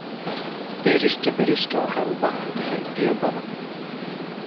Beerista bariiska waxay u baahan tahay biyo badan.